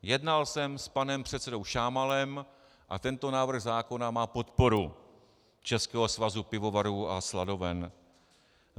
Jednal jsem s panem předsedou Šámalem a tento návrh zákona má podporu Českého svazu pivovarů a sladoven.